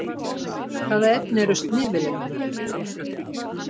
Hvaða efni eru snefilefni?